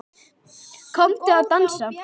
Komdu að dansa